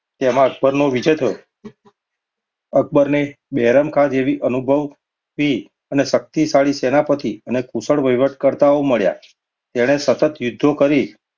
તેમાં અક્બરનો વિજય થયો. અક્બરને બહેરામાઁ જેવા અનુભવી અને શક્તિશાળી સેનાપતિ અને કુશળ વહીવટકર્તાઓ મળ્યો. તેણે સતત યુદ્ધો કરી.